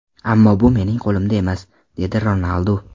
Ammo bu mening qo‘limda emas”, dedi Ronaldu.